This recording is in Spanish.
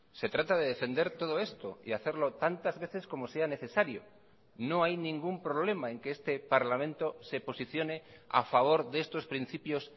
se trata de defender todo esto y hacerlo tantas veces como sea necesario no hay ningún problema en que este parlamento se posicione a favor de estos principios